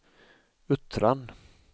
Uttran